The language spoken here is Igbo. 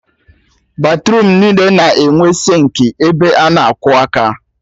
Batruum niile na-enwe sịnkị ebe a na-akwọ aka